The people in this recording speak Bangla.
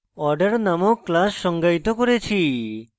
order named class সংজ্ঞায়িত করেছি